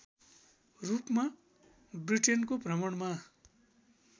रूपमा ब्रिटेनको भ्रमणमा